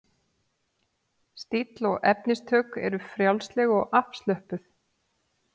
Stíll og efnistök eru frjálsleg og afslöppuð.